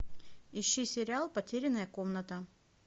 ищи сериал потерянная комната